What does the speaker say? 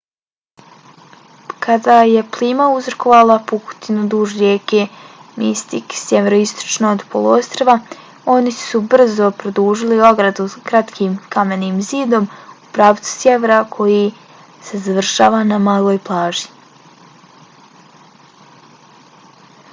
kada je plima uzrokovala pukotinu duž rijeke mystic sjeveroistočno od poluostrva oni su brzo produžili ogradu kratkim kamenim zidom u pravcu sjevera koji se završava na maloj plaži